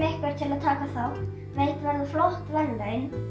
að taka þátt veitt verða flott verðlaun